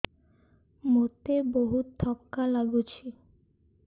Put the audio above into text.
ମୋତେ ବହୁତ୍ ଥକା ଲାଗୁଛି